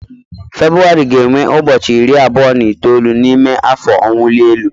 Febụwarị ga-enwe ụbọchị iri abụọ na itoolu n'ime afọ ọwụli elu